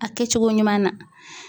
A kɛcogo ɲuman na.